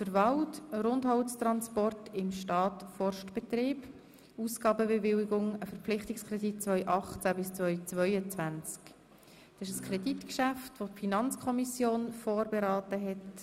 Es handelt sich um ein Kreditgeschäft, welches durch die Finanzkommission vorberaten wurde.